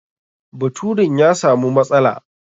Baturin ya samu matsala.